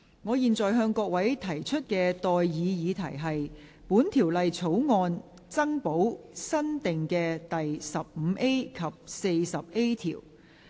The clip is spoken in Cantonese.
我現在向各位提出的待議議題是：本條例草案增補新訂的第 15A 及 40A 條。